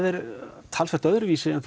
er talsvert öðruvísi en